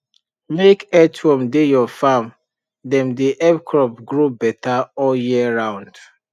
make earthworm dey your farm dem dey help crop grow better all year round